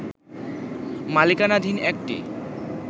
মালিকানাধীন একটি